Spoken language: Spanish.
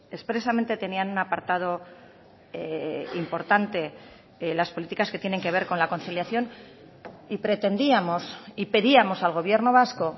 expresamente tenían un apartado importante las políticas que tienen que ver con la conciliación y pretendíamos y pedíamos al gobierno vasco